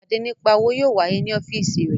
Ìpàdé nípa òwò yóò wáyé ní ọ́fíìsì rẹ